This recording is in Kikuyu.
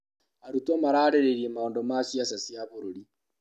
Arutwo maraarĩrĩirie maũndũ ma ciaca cia bũrũri.